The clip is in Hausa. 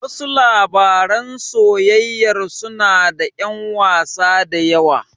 Wasu labaran soyayyar suna da ƴan wasa da yawa.